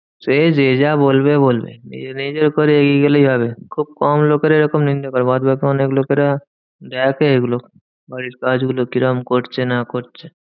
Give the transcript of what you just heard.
সে যে যা বলবে বলবে, নিজের নিজের করে এগিয়ে গেলেই হবে। খুব কম লোকেরা এরকম নিন্দে করে বাদবাকি অনেক লোকেরা দেখে এগুলো বাড়ির কাজগুলো কিরম করছে না করছে?